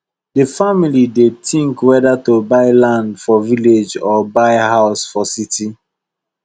the family dey think whether to buy land for village or buy new house for city